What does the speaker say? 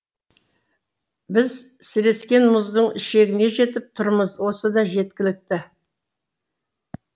біз сірескен мұздың шегіне жетіп тұрмыз осы да жеткілікті